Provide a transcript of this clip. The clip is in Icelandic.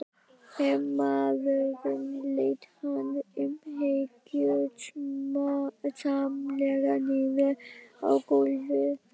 Hermaðurinn lét hann umhyggjusamlega niður á gólfið.